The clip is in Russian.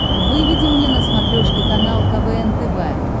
выведи мне на смотрешке канал квн тв